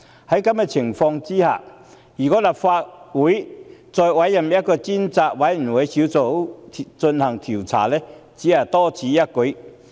在此情況下，我認為如果立法會再委任專責委員會進行調查，只是多此一舉。